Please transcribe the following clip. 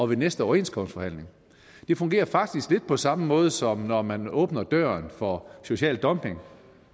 ved næste overenskomstforhandling det fungerer faktisk lidt på samme måde som når man åbner døren for social dumping